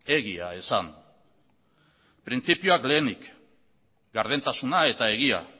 egia esan printzipioak lehenik gardentasuna eta egia